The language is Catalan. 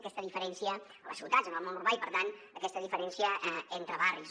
aquesta diferència a les ciutats en el món urbà i per tant aquesta diferència entre barris